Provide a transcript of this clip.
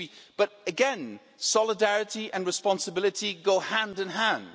But again, solidarity and responsibility go hand in hand.